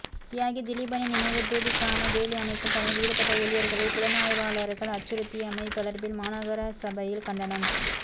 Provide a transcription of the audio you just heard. தியாகி திலீபனின் நினைவு தூபிக்கான வேலி அமைக்கும் பணியில் ஈடுபட்ட ஊழியர்களை புலனாய்வாளர்கள் அச்சுறுத்தியமை தொடர்பில் மாநகரச பையில் கண்டனம்